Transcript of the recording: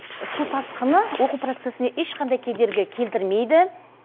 су тасқыны оқу процесіне ешқандай кедергі келтірмейді